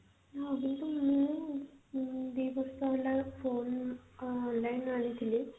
ଆଉ ଯେହେତୁ ମୁଁ ଦି ବର୍ଷ ହେଲା phone ଆଁ online ଆଣିଥିଲି